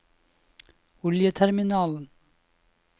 oljeterminalen